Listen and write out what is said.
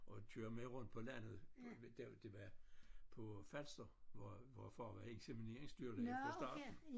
Og kører med rundt på landet der det var på Falster hvor hvor far var insemineringsdyrlæge for staten